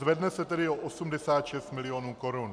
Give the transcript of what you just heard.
Zvedne se tedy o 86 mil. korun.